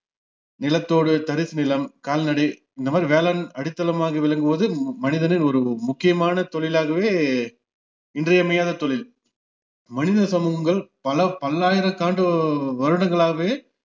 நிலத்தோடு தரிசு நிலம் கால்நடை இந்தமாதிரி வேளாண் அடித்தலமக விளங்குவது ம மனிதனின் ஒரு முக்கியமான தொழிலாகவே இன்றியமையாத தொழில் மனித சமூகங்கள் பல பல்லாயிரக்காண்டு உ~ வருடங்களாகவே